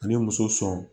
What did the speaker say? Ani muso sɔn